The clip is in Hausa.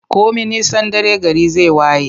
Komi nisan dare, gari zai waye.